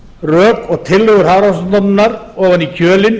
rök og tillögur hafrannsóknastofnunarinnar ofan í kjölinn